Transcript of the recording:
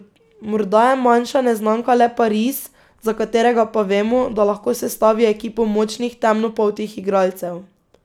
Morda je manjša neznanka le Pariz, za katerega pa vemo, da lahko sestavi ekipo močnih temnopoltih igralcev.